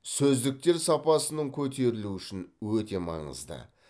сөздіктер сапасының көтерілуі үшін өте маңызды